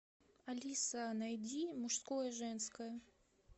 алиса найди мужское женское